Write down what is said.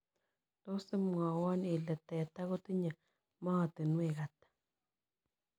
Tos' imwawon ile teta kotinye maatinwek ata